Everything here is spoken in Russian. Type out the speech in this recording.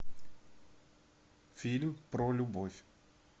фильм про любовь